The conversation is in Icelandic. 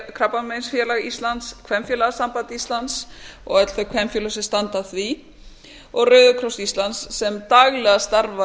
krabbameinsfélag íslands kvenfélagasamband íslands og öll þau kvenfélög sem standa að því og rauðikross íslands sem daglega starfa